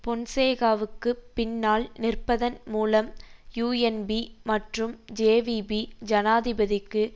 பொன்சேகாவுக்குப் பின்னால் நிற்பதன் மூலம் யூஎன்பி மற்றும் ஜேவிபி ஜனாதிபதிக்கு